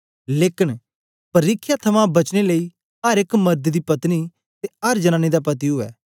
लेकन परिख्या थमां बचने लेई अर एक मर्द दी पत्नी ते अर जनांनी दा पति उवै